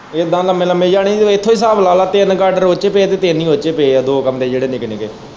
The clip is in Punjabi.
ਇੱਦਾ ਲੰਮੇ-ਲੰਮੇ ਜਾਣੀ ਇੱਥੋਂ ਹੀ ਹਿਸਾਬ ਲਾ ਲੈ ਤਿੰਨ ਗਾਡਰ ਉੱਦੇ ਚ ਪਏ ਤੇ ਤਿੰਨ ਹੀ ਉੱਦੇ ਚ ਪਏ ਏ ਦੋ ਕਮਰੇ ਜਿਹੜੇ ਨਿੱਕੇ-ਨਿੱਕੇ।